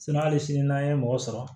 hali sini n'an ye mɔgɔ sɔrɔ